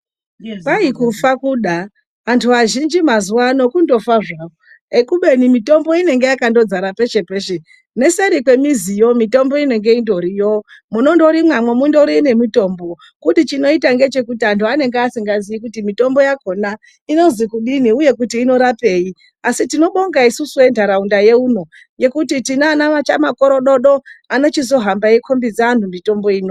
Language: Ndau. Kwai kufa kuda. Antu azhinji mazuwa ano kundofa zvawo, kubeni mitombo inenge yakandodzara peshe peshe. Neseri kwemiziyo mitombo inenge indoriyo, munondorimwamo mundori nemitombo. Kuti chinoita ngechekuti antu anenge asingazii kuti mitombo yakhona inozi kudini, uye kuti inorapei. Asi tinobonga isusu entaraunda yeuno, ngekuti tina ana chamakorododo anochizohamba eikhombidza anhu mitombo ino.